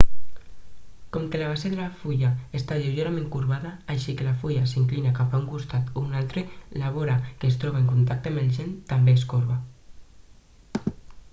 com que la base de la fulla està lleugerament corbada així que la fulla s'inclina cap a un costat o un altre la vora que es troba en contacte amb el gel també es corba